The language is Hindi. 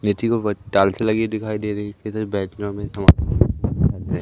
के उपर टाइल्से लगी दिखाई दे रही कई सारे --